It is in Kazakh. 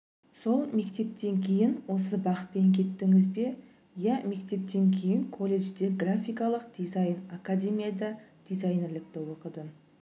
сол мектептен кейін осы бағытпен кеттіңіз бе иә мектептен кейін колледжде графикалық дизайн академияда дизайнерлікті оқыдым